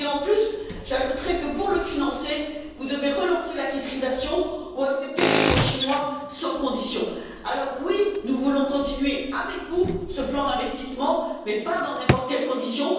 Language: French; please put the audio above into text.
De plus, j'ajouterai que, pour le financer, vous devez relancer la titrisation ou accepter des fonds chinois sans condition. Alors, oui, nous voulons continuer avec vous ce plan d'investissement, mais pas dans n'importe quelle condition.